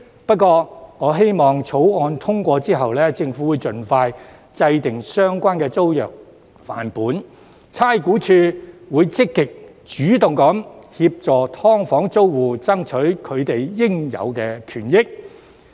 不過，我希望在《條例草案》通過後，政府會盡快制訂相關租約範本，而差估署亦會積極主動協助"劏房"租戶爭取應有權益。